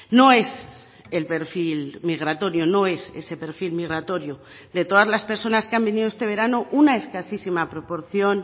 no es el perfil migratorio no es ese perfil migratorio de todas las personas que han venido este verano una escasísima proporción